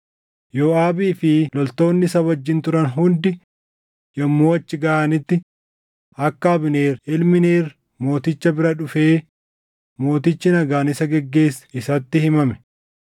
Yooʼaabii fi loltoonni isa wajjin turan hundi yommuu achi gaʼanitti akka Abneer ilmi Neer mooticha bira dhufee mootichi nagaan isa geggeesse isatti himame.